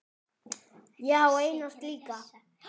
Ég á eina slíka.